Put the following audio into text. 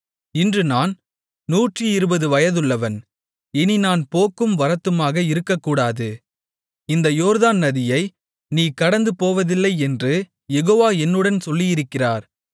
இன்று நான் 120 வயதுள்ளவன் இனி நான் போக்கும் வரத்துமாக இருக்கக்கூடாது இந்த யோர்தானை நதியை நீ கடந்துபோவதில்லை என்று யெகோவா என்னுடன் சொல்லியிருக்கிறார்